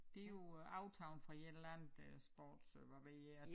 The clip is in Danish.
Det jo øh aftaget fra et eller andet øh sport hvad ved jeg